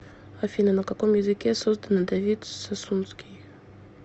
афина на каком языке создано давид сасунский